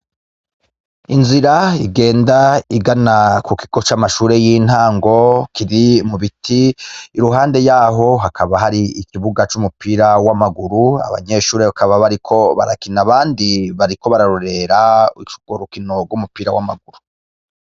Inzira igenda igana ku kigo c' mashure y' intango kiri mu biti iruhande yaho hakaba hari ikibuga c'umupira w' amaguru abanyeshure bakaba bariko barakina abandi bariko bararorera ic'ugwo rukino gw' umupira w' amaguru.